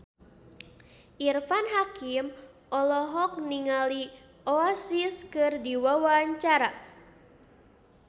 Irfan Hakim olohok ningali Oasis keur diwawancara